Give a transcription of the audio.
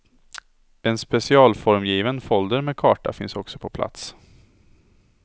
En specialformgiven folder med karta finns också på plats.